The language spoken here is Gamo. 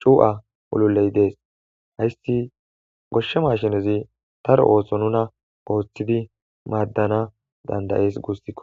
cu7a oluley dees hayssi goshshe mashinezi daro ooso nuna ooththidi maaddana dandayees guustikko